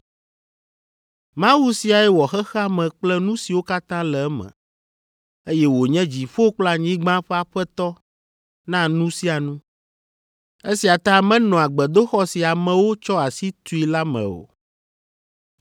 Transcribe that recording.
“Mawu siae wɔ xexea me kple nu siwo katã le eme, eye wònye dziƒo kple anyigba ƒe aƒetɔ na nu sia nu. Esia ta menɔa gbedoxɔ si amewo tsɔ asi tui la me o,